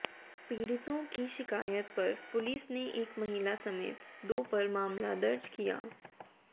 पीड़ितों की शिकायत पर पुलिस ने एक महिला समेत दो पर मामला दर्ज किया